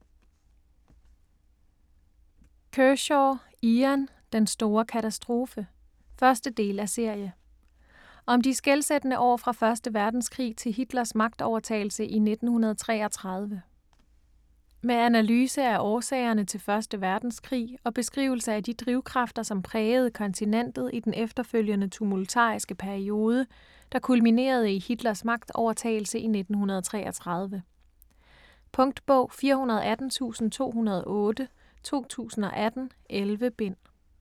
Kershaw, Ian: Den store katastrofe 1. del af serie. Om de skelsættende år fra 1. verdenskrig til Hitlers magtovertagelse i 1933. Med analyse af årsagerne til 1. verdenskrig, og beskrivelse af de drivkræfter, som prægede kontinentet i den efterfølgende tumultariske periode, der kulminerede i Hitlers magtovertagelse i 1933. Punktbog 418208 2018. 11 bind.